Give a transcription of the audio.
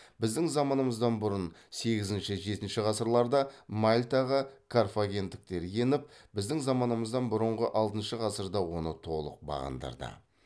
біздің заманымыздан бұрын сегізінші жетінші ғасырларда мальтаға карфагендіктер еніп біздің заманымыздан бұрынғы алтыншы ғасырда оны толық бағындырды